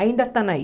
Ainda estão aí.